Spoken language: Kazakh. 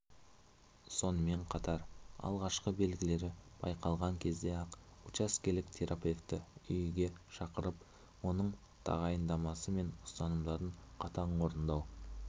сонымен қатар алғашқы белгілері байқалған кезде-ақ учаскелік терапевті үйге шақырып оның тағайындамасы мен ұсынымдарын қатаң орындау